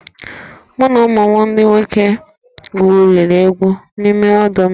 Mụ na ụmụ m ndị nwoke gwuriri egwu n'ime ọdọ mmiri